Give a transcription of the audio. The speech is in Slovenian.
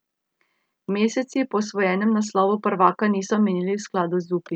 Meseci po osvojenem naslovu prvaka niso minili v skladu z upi.